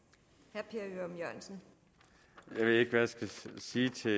jeg ved ikke hvad jeg skal sige til